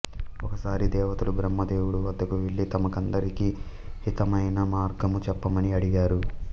ఒకసారి దేవతలు బ్రహ్మదేవుడు వద్దకు వెళ్ళి తమకందరికీ హితమైన మార్గము చెప్పమని అడిగారు